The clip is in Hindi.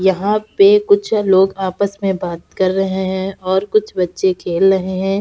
यहां पे कुछ लोग आपस में बात कर रहे हैं और कुछ बच्चे खेल रहे हैं।